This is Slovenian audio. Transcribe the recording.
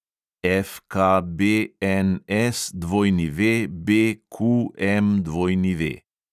FKBNSWBQMW